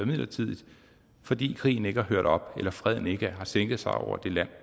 midlertidigt fordi krigen ikke er hørt op eller freden ikke har sænket sig over det land